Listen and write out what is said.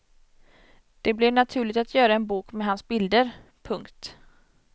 Det blev naturligt att göra en bok med hans bilder. punkt